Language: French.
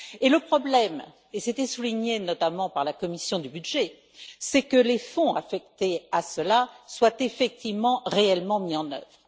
Le problème c'était souligné, notamment, par la commission des budgets c'est que les fonds affectés à cela soient effectivement, réellement mis en œuvre.